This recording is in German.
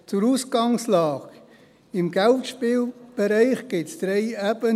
Zur Ausgangslage: Im Geldspielbereich gibt es drei Ebenen: